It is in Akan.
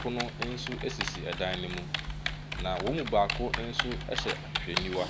pono nso sisi dan no mu, na wɔn mu baako nso hyɛ ahwehwɛniwa.